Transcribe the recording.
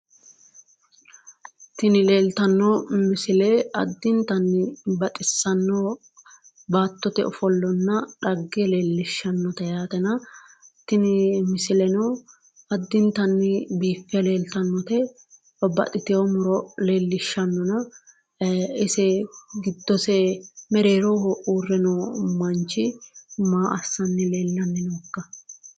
Tini leeltanno misile addintanni baxissanno baattote ofollanna dhagge leellishshannote yaatena tini misileno addintanni biiffe leeltannote. Babbaxitino muro leellishshannona ise giddose mereeroho uurre noo manchi maa assanni leellanni nookka?